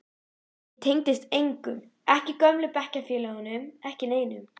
Ég tengdist engum, ekki gömlu bekkjarfélögunum, ekki neinum.